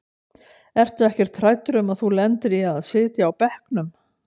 Ertu ekkert hræddur um að þú lendir í að sitja á bekknum?